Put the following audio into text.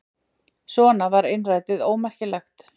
Svona var innrætið ómerkilegt.